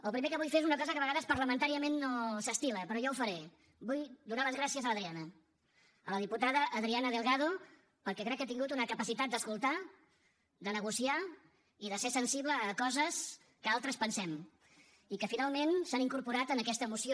el primer que vull fer és una cosa que a vegades parlamentàriament no s’estila però jo ho faré vull donar les gràcies a l’adriana a la diputada adriana delgado perquè crec que ha tingut una capacitat d’escoltar de negociar i de ser sensible a coses que altres pensem i que finalment s’han incorporat en aquesta moció